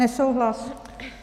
Nesouhlas.